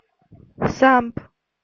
самп